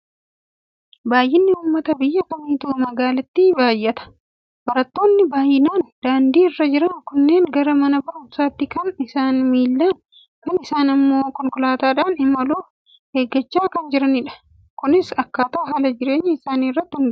Baay'inni uummata biyya kamiittuu magaalaatti baay'ata. Barattoonni baay'inaan daandii irra jiran kunneen gara mana barumsaatti kan isaanii miillaan, kaan isaanii immoo konkolaataadhaan imaluuf eeggachaa kan jiranidha. Kunis akkaataa haala jireenya isaanii irratti hundaa'a.